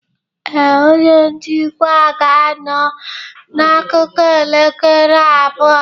Ee, onye njikwa ga-anọ n'akụkụ elekere abụọ.